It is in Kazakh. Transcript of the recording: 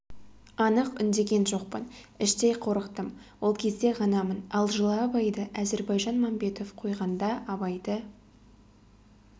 анық үндеген жоқпын іштей қорықтым ол кезде ғанамын ал жылы абайды әзірбайжан мәмбетов қойғанда абайды